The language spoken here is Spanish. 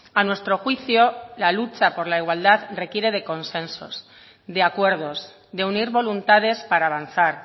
a nuestro juicio la lucha por la igualdad requiere de consensos de acuerdos de unir voluntades para avanzar